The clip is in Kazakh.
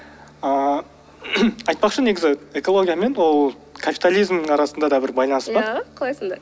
ыыы айтпақшы негізі экология мен ол капитализмнің арасында да бір байланыс бар иә қалай сонда